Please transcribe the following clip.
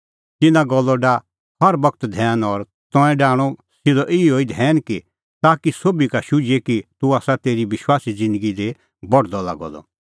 तिन्नां गल्लो डाह हर बगत धैन और तंऐं डाहणअ सिधअ सह ई धैन ताकि सोभी का शुझिए कि तूह आसा तेरी विश्वासी ज़िन्दगी दी बढदअ लागअ द